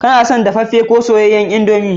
Kana son dafaffe ko soyayyen indomie?